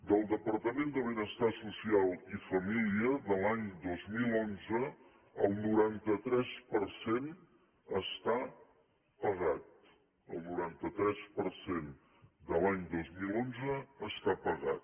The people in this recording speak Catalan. del departament de benestar social i família de l’any dos mil onze el noranta tres per cent està pagat el noranta tres per cent de l’any dos mil onze està pagat